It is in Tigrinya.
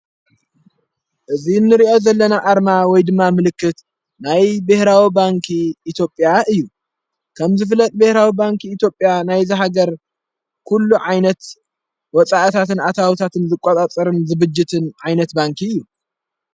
እዝ ንርእዮ ዘለና ኣርማ ወይ ድማ ምልክት ናይ ብኅራዊ ባንኪ ኢትጴያ እዩ ከም ዝፍለጥ ቤኅራዊ ባንኪ ኢትጴያ ናይ ዝሃገር ኲሉ ዓይነት ወፃዕታትን ኣታኣውታትን ዝቋጣጸርን ዝብጅትን ዓይነት ባንኪ እዩ።